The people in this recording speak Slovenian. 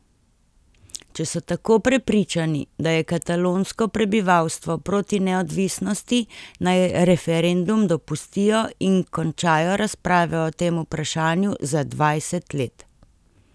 Če so tako prepričani, da je katalonsko prebivalstvo proti neodvisnosti, naj referendum dopustijo in končajo razprave o tem vprašanju za dvajset let.